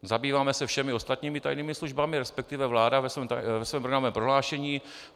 Zabýváme se všemi ostatními tajnými službami, respektive vláda ve svém programovém prohlášení.